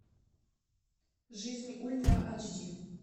жизнь ультра айч ди